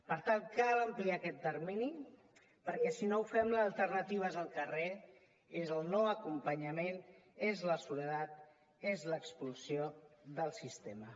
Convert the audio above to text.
per tant cal ampliar aquest termini perquè si no ho fem l’alternativa és el carrer és el no acompanyament és la soledat és l’expulsió del sistema